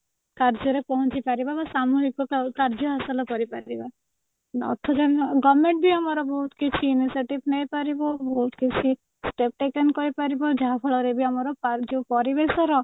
କାର୍ଯ୍ୟରେ ପହଞ୍ଚି ପାରିବା ବା ସାମୁହିକ କାର୍ଯ୍ୟ ହାସଲ କରିପାରିବା government ବି ଆମର ବହୁତ କିଛି initiative ନେଇ ପାରିବ ବହୁତ କିଛି step taken କରିପାରିବ ଯାହା ଫଳରେ ବି ଆମର ଯୋଉ ପରିବେଶର